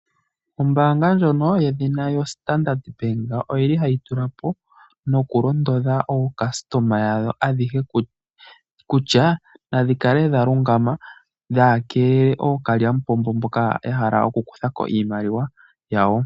Ombaanga ndjono lyoStandard bank ohayi londodha aayakulwa yadho ayehe kutya naya kale yalungama yakeele ookalyampombo mboka yahala oku kuthako iimaliwa yawo.